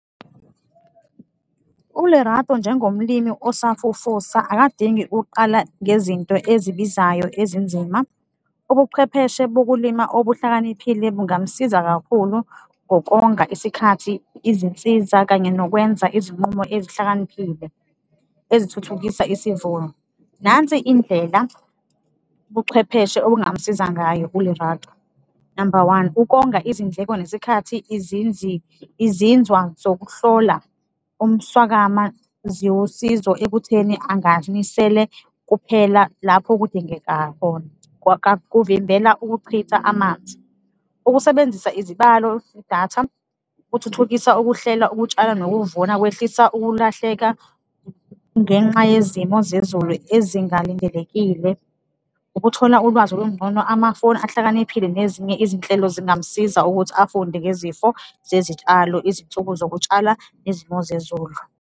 ULerato njengomlimi osafufusa akadingi uqala ngezinto ezibizayo ezinzima, ubuchwepheshe bokulima obuhlakaniphile bungamsiza kakhulu ngokonga isikhathi, izinsiza kanye nokwenza izinqumo ezihlakaniphile ezithuthukisa isivuno. Nansi indlela ubuchwepheshe obungamsiza ngayo uLerato, number one, ukonga izindleko nesikhathi, izinzwa zokuhlola umswakama ziwusizo ekutheni anganisele kuphela lapho kudingeka khona, kuvimbela ukuchitha amanzi. Ukusebenzisa izibalo, idatha kuthuthukisa ukuhlela, ukutshala nokuvuna, kwehlisa ukulahleka ngenxa yezimo zezulu ezingalindelekile. Ukuthola ulwazi olungcono, amafoni ahlakaniphile nezinye izinhlelo zingamsiza ukuthi afunde ngezifo zezitshalo, izinsuku zokutshala nezimo zezulu.